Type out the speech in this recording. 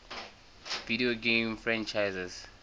video game franchises